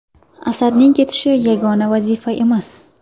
Asadning ketishi yagona vazifa emas.